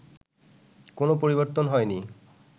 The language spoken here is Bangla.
কোনো পরিবর্তন হয়নি